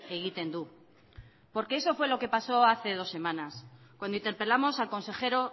egiten du porque eso fue lo que pasó hace dos semanas cuando interpelamos al consejero